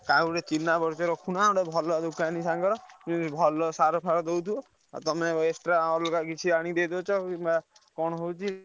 କାହାକୁ ଗୋଟେ ଚିହ୍ନାପରିଚୟ ରଖୁନ ଗୋଟେ ଭଲ ଦୋକାନୀ ସାଙ୍ଗର ଉଁ ଭଲ ସାର ଫର ଦଉଥିବ ଆଉ ତମେ extra ଅଲଗା କିଛି ଆଣି ଦେଇଦଉଛ ।